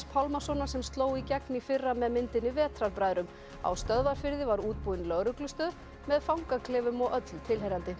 Pálmasonar sem sló í gegn í fyrra með myndinni Vetrarbræðrum á Stöðvarfirði var útbúin lögreglustöð með fangaklefum og öllu tilheyrandi